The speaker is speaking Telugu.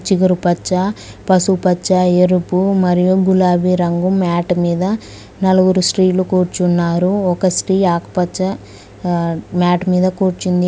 చిగురు పచ్చ పసుపు పచ్చ ఎరుపు మరియు గులాబీ రంగు మ్యాట్ మీద నలుగురు స్త్రీలు కూర్చున్నారు ఒక స్త్రీ ఆకుపచ్చ ఆ మ్యాట్ మీద కూర్చుంది.